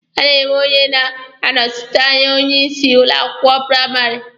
A na-enwe onye na-anọsite anya onye isi ụlọ akwụkwọ praịmarị.